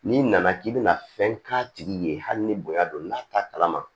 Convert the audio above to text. N'i nana k'i bɛna fɛn k'a tigi ye hali ni bonya don n'a t'a kalama